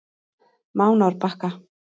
Mánárbakka